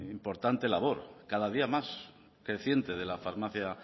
importante labor cada día más creciente de la farmacia